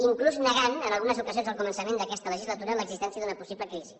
inclús negant en algunes ocasions al començament d’aquesta legislatura l’existència d’una possible crisi